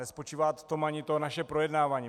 Nespočívá v tom ani to naše projednávání.